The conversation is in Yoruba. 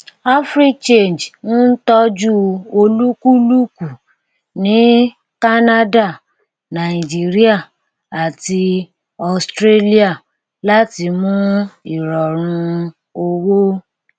africhange ń tọjú olúkúlùkù ní canada nàìjíríà àti australia láti mú ìrọrùn owó